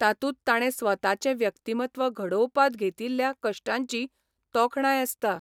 तातूंत ताणें स्वताचें व्यक्तिमत्व घडोवपांत घेतिल्ल्या कश्टांची तोखणाय आसता.